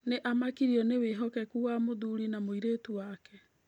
Nĩ aamakirio nĩ wĩhokeku wa mũthuri na mũirĩtu wake.